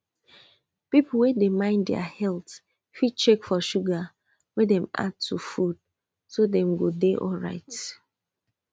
people wey dey mind their health fit check for sugar wey dem add to food so dem go dey alright